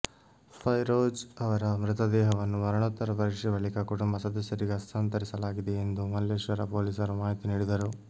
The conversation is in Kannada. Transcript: ಫೈರೋಜ್ ಅವರ ಮೃತದೇಹವನ್ನು ಮರಣೋತ್ತರ ಪರೀಕ್ಷೆ ಬಳಿಕ ಕುಟುಂಬ ಸದಸ್ಯರಿಗೆ ಹಸ್ತಾಂತರಿಸಲಾಗಿದೆ ಎಂದು ಮಲ್ಲೇಶ್ವರ ಪೊಲೀಸರು ಮಾಹಿತಿ ನೀಡಿದರು